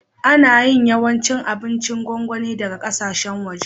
Ana yin yawancin abincin gongoni daga ƙasashen waje.